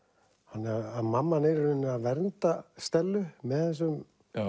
þannig að mamman er í rauninni að vernda Stellu með þessum